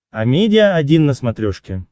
амедиа один на смотрешке